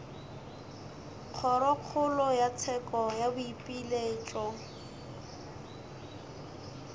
kgorokgolo ya tsheko ya boipiletšo